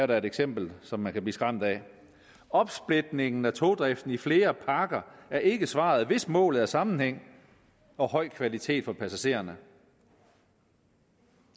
da et eksempel som man kan blive skræmt af opsplitningen af togdriften i flere pakker er ikke svaret hvis målet er sammenhæng og høj kvalitet for passagererne